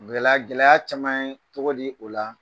Gɛlɛya gɛlɛya caman ye cogo di o la